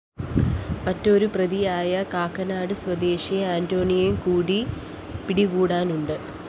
മറ്റൊരു പ്രതിയായ കാക്കനാട് സ്വദേശി അന്റണിയെക്കൂടി പിടികൂടാനുണ്ട്